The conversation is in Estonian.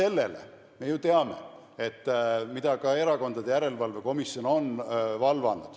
Peale selle me ju teame, mille üle ka Erakondade Rahastamise Järelevalve Komisjon on valvanud.